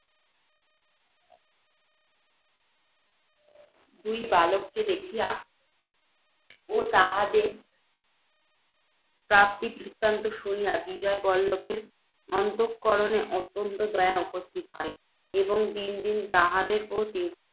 ঐ দুই বালককে দেখিয়া ও তাহাদের প্রাপ্তিবৃত্তান্ত শুনিয়া, বিজয়বল্লভের অন্তঃকরণে অত্যন্ত দয়া উপস্থিত হয়, এবং দিন দিন তাহাদের প্রতি